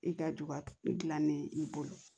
I ka duba i dilan ne i bolo